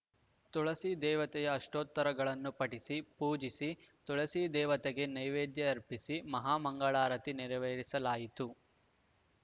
ತುಳಸಿ ದೇವತೆಯ ಅಷ್ಟೋತ್ತರಗಳನ್ನು ಪಠಿಸಿ ಪೂಜಿಸಿ ತುಳಸಿ ದೇವತೆಗೆ ನೇವೇದ್ಯ ಅರ್ಪಿಸಿ ಮಹಾಮಂಗಳಾರತಿ ನೆರವೇರಿಸಲಾಯಿತು